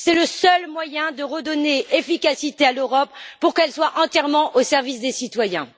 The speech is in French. C'est le seul moyen de redonner de l'efficacité à l'Europe pour qu'elle soit entièrement au service des citoyens.